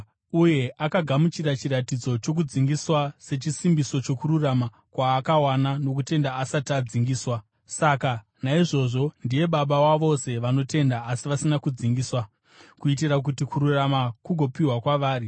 Uye akagamuchira chiratidzo chokudzingiswa, sechisimbiso chokururama kwaakawana nokutenda asati adzingiswa. Saka naizvozvo ndiye baba wavose vanotenda, asi vasina kudzingiswa, kuitira kuti kururama kugopiwa kwavari.